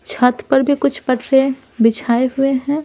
छत पर भी कुछ पटरे बिछाए हुए हैं।